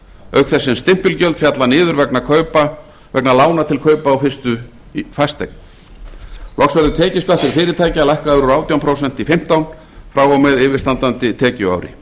auk þess sem stimpilgjöld falla niður vegna lána til kaupa á fyrstu fasteign loks verður tekjuskattur fyrirtækja lækkaður úr átján prósent í fimmtán prósent frá og með yfirstandandi tekjuári